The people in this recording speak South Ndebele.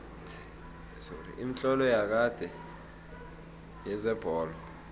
imitlolo yakade yezebholo